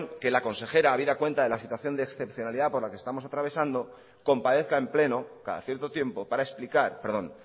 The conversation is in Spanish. que la consejera habida cuenta de la situación de excepcionalidad por la que estamos atravesando comparezca en pleno cada cierto tiempo para explicar perdón